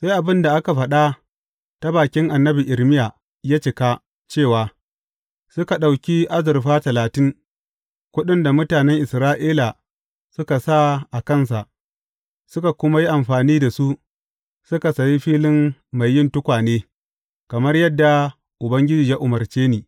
Sai abin da aka faɗa ta bakin annabi Irmiya ya cika cewa, Suka ɗauki azurfa talatin, kuɗin da mutanen Isra’ila suka sa a kansa, suka kuma yi amfani da su, suka sayi filin mai yin tukwane, kamar yadda Ubangiji ya umarce ni.